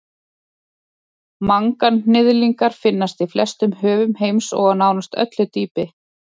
manganhnyðlingar finnast í flestum höfum heims og á nánast öllu dýpi